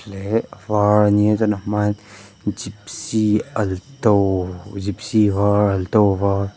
a var a nia chuan a hma ah hian gypsy alto gypsy var alto var--